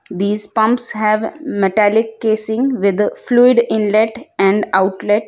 these pumps have metallic casing with fluid inlet and outlet.